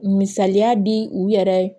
Misaliya di u yɛrɛ ye